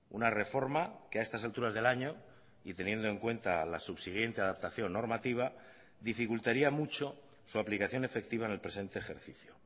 una reforma que a estas alturas del año y teniendo en cuenta la subsiguiente adaptación normativa dificultaría mucho su aplicación efectiva en el presente ejercicio